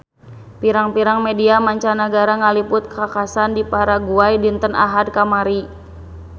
Pirang-pirang media mancanagara ngaliput kakhasan di Paraguay dinten Ahad kamari